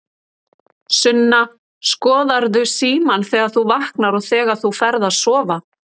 Sunna: Skoðarðu símann þegar þú vaknar og þegar þú ferð að sofa?